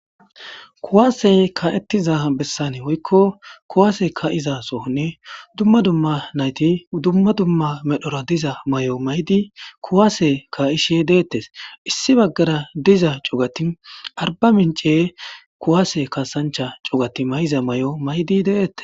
Kuwaasey ka'ettiza bessane woykko kuwaase ka iza sonni dumma dumma nayti dumma dumma medhora diza may'o maydi kuwaase ka ishe deettes issi baggara diza cogati arba mince kuwaase kasancha cogati mayiza may'o maydi deettes.